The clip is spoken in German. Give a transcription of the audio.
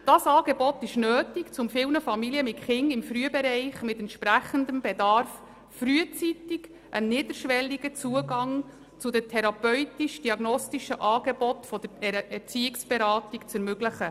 Dieses Angebot ist nötig, um vielen Familien mit Kindern im Frühbereich mit entsprechendem Bedarf frühzeitig einen niederschwelligen Zugang zu den therapeutisch-diagnostischen Angeboten der Erziehungsberatung zu ermöglichen.